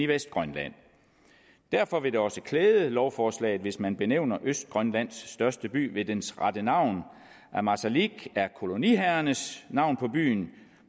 vestgrønland derfor vil det også klæde lovforslaget hvis man benævner østgrønlands største by ved dens rette navn ammassalik er koloniherrernes navn på byen